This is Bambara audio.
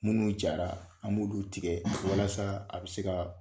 Munnu jara an b'olu tigɛ walasa a bɛ se ka